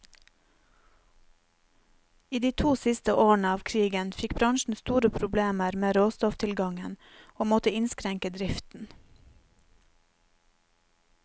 I de to siste årene av krigen fikk bransjen store problemer med råstofftilgangen, og måtte innskrenke driften.